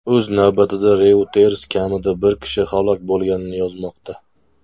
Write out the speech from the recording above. O‘z navbatida, Reuters kamida bir kishi halok bo‘lganini yozmoqda.